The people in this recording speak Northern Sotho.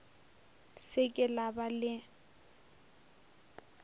se ke la ba le